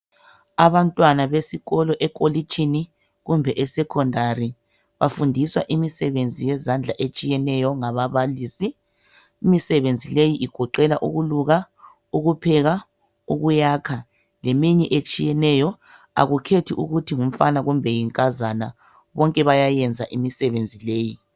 Abantwana besikolo ekolitshini kumbe e secondary bafundiswa imisebenzi yezandla etshiyeneyo ngababalisi imisebenzi leyi igoqela ukuluka, ukupheka, ukuyakha, leminye etshiyeneyo akukhethi ukuthi ngumfana kumbe yinkazana bonke bayayenza imisebenzi leyi